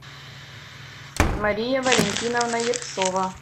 мария валентиновна ершова